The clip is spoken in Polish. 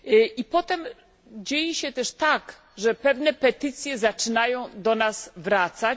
I potem dzieje się też tak, że pewne petycje zaczynają do nas wracać.